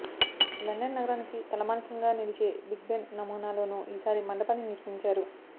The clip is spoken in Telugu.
లండన్ నగరానికి తలమానికంగా నిలిచే బిగ్బెన్ నమూనాలోనూ ఈసారి మండపాన్ని నిర్మించారు